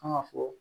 An ka fɔ